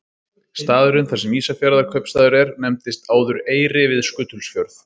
Staðurinn þar sem Ísafjarðarkaupstaður er nefndist áður Eyri við Skutulsfjörð.